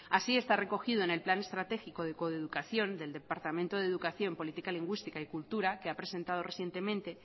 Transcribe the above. así está recogido en el plan estratégico de coeducación del departamento de educación política lingüística y cultura que ha presentado recientemente